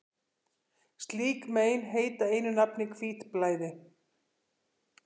slík mein heita einu nafni hvítblæði